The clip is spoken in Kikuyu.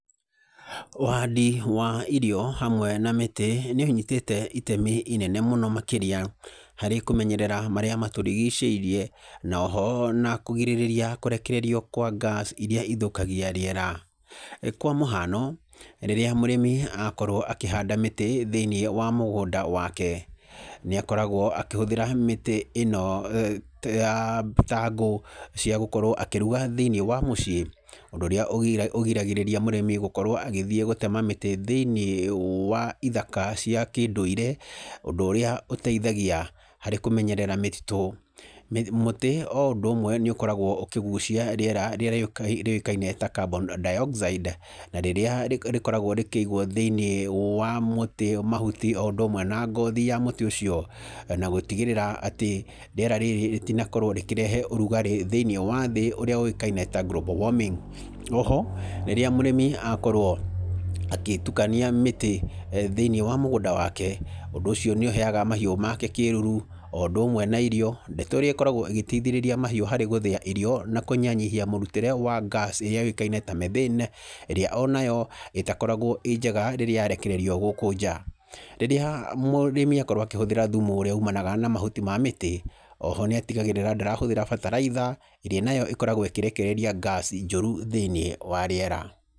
Ũhandi wa irio hamwe na mĩtĩ nĩũnyitĩte itemi inene mũno makĩria harĩ kũmenyerera marĩa matũrigicĩirie, na oho kũgirĩrĩria kũrekererio kwa ngaci iria ithũkagia rĩera. Kwa mũhano, rĩrĩa mũrĩmi akorwo akĩhanda mĩtĩ thĩinĩ wa mũgũnda wake nĩakoragwo akĩhũthĩra mĩtĩ ĩno ta ngũ cia gũkorwo akĩruga thĩinĩ wa mũciĩ, ũndũ ũrĩa ũgiragĩrĩria mũrĩmi gũkorwo agĩthiĩ gũtema mĩtĩ thĩinĩ wa ithaka cia kĩndũire, ũndũ ũrĩa ũteithagia harĩkũmenyerara mĩtitũ. Mũtĩ o ũndũ ũmwe nĩ ũkoragwo ũkĩgucia rĩera rĩrĩa rĩũĩkaine ta carbon dioxide na rĩrĩa rĩkoragwo rĩkĩigwo thĩinĩ wa mũtĩ mahuti o ũndũ ũmwe na ngothi ya mũtĩ, ũcio na gũtigĩrĩra rĩera rĩrĩ rĩtinakorwo rĩkĩrehe ũrugarĩ thĩinĩ wa thĩ ũrĩa ũĩkane ta global warming. Oho rĩrĩa mũrĩmi akorwo agĩtukania mĩtĩ thĩinĩ wa mũgũnda wake ũndũ ũcio nĩũheyaga mahiũ make kĩruru o ũndũ ũmwe na irio. Ndeto ĩrĩa ĩkoragwo ĩgĩteithĩrĩria mahiũ harĩ gũthĩa irio na kũnyihanyihia mũrutĩre wa ngaci ĩrĩa yũĩkaine ta methyne, iria onayo ĩtakoragwo ĩ njega rĩrĩa yarekererio gũkũ nja. Rĩrĩa mũrĩmi akorwo akĩhũthĩra thumu ũrĩa umanaga na mahuti ma mĩtĩ oho nĩatigagĩrĩra ndarahũthĩra bataraitha ĩrĩa nayo ĩkoragwo ĩkĩrekereria ngaci njũru thĩinĩ wa riera.